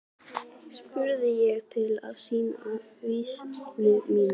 spurði ég til að sýna visku mína.